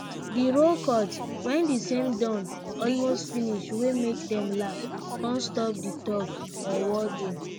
the rooe cut when the same don almost finish wey make dem laugh con stop di tug or war game